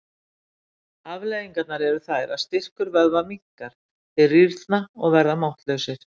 Afleiðingarnar eru þær að styrkur vöðva minnkar, þeir rýrna og verða máttlausir.